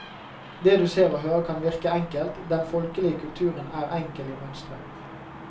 Det du ser og hører kan virke enkelt, den folkelige kulturen er enkel i mønstret.